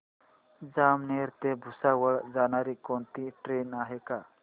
जामनेर ते भुसावळ जाणारी कोणती ट्रेन आहे का